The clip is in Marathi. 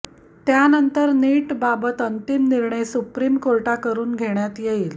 त्यानंतर नीटबाबत अंतिम निर्णय सुप्रीम कोर्टाकडून घेण्यात येईल